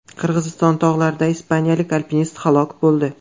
Qirg‘iziston tog‘larida ispaniyalik alpinist halok bo‘ldi.